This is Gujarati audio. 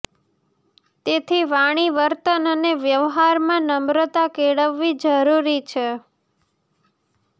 તેથી વાણી વર્તન અને વ્યવહારમાં નમ્રતા કેળવવી જરૂરી છે